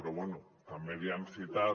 però bé també li han citat